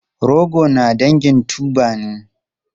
Rogo na dangin tuber ne.